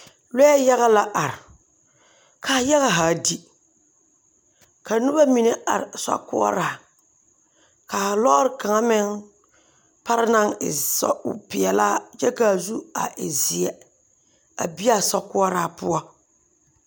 Lɔɛ yaga la are, ka a yaga haa di, ka noba mine are sokoɔraa, ka a lɔɔre kaŋa meŋ pare naŋ e sɔg peɛlaa kyɛ ka a zu e zeɛ a bi a sokoɔraa poɔ. 13347